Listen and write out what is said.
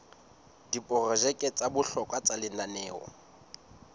diprojeke tsa bohlokwa tsa lenaneo